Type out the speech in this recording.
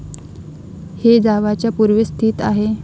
हे जावाच्या पूर्वेस स्थित आहे.